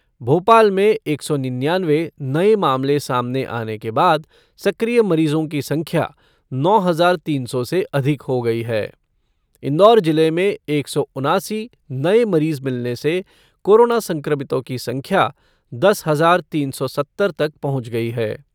भोपाल में एक सौ निन्यानवे नये मामले सामने आने के बाद सक्रिय मरीजों की संख्या नौ हज़ार तीन सौ से अधिक हो गयी है। इंदौर जिले में एक सौ उनासी नए मरीज मिलने से कोरोना संक्रमितों की संख्या दस हज़ार तीन सौ सत्तर तक पहुंच गई है।